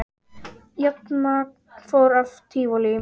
Rafmagn fór af Tívolí